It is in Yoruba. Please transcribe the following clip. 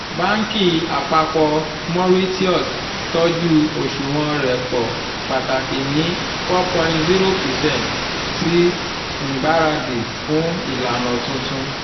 banki apapọ mauritius tọju oṣuwọn repo pataki ni 4.0 percent ṣi ngbaradi fun ilana tuntun